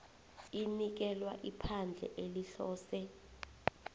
inikelwa iphandle elihlose